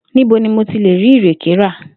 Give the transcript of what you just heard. Níbo ni mo ti lè rí ìrèkè ra?